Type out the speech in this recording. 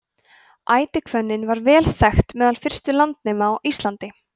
ætihvönnin var vel þekkt meðal fyrstu landnema á íslandi